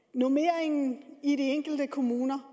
normeringen i de enkelte kommuner